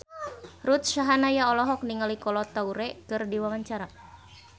Ruth Sahanaya olohok ningali Kolo Taure keur diwawancara